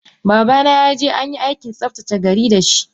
Babana yaje anyi Aikin tsaftace gari dashi.